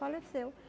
Faleceu.